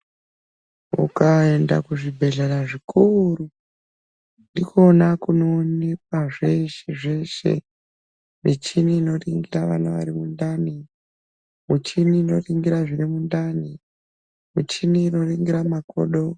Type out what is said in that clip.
Ukaenda kuzvibhedhlera zvikuru ndikona kunoonekwa zveshe zveshe michini inoringira vana vari mundani michini inoringira zvirimundani michini inoringira makodo.